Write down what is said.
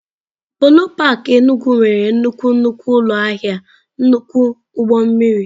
Polo park Enugwu nwere nnukwu nnukwu ụlọ ahịa nnukwu ụgbọ mmiri.